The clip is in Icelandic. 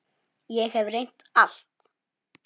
Ég hef reynt allt.